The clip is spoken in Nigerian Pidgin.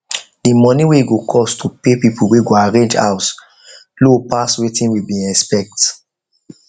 the money wey e go cost to pay people wey go arrange house low pass wetin we been expect